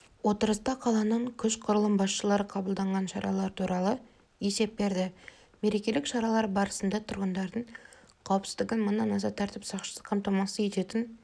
отырыста қаланың күш құрылым басшылары қабылданған шаралар туралы есеп берді мерекелік шаралар барысында тұрғындардың қауіпсіздігін мыңнан аса тәртіп сақшысы қамтамасыз ететін